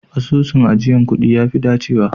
Asusun ajiyar kuɗi ya fi dacewa